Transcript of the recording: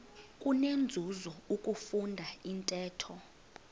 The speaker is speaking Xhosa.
kunenzuzo ukufunda intetho